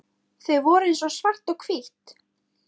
Þau voru eins og svart og hvítt.